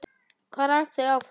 Hvað rak þau áfram?